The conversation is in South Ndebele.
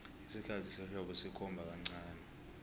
isikhathi sehlobo sikhomba kancani